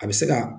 A bɛ se ka